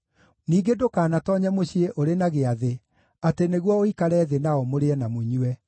“Ningĩ ndũkanatoonye mũciĩ ũrĩ na gĩathĩ, atĩ nĩguo ũikare thĩ nao mũrĩe na mũnyue.